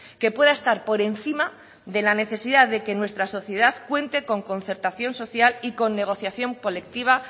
que pueda estar por encima de la necesidad de que nuestra sociedad cuente con concertación social y con negociación colectiva